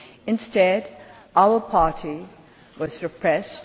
Instead, our party was repressed.